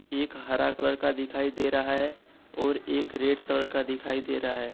एक हरा कलर का दिखाई दे रहा है और एक रेड कलर का दिखाई दे रहा है।